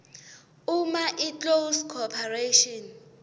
uma iclose corporation